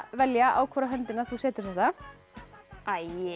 velja á hvora höndina þú setur þetta æi